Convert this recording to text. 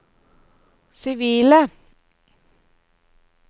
sivile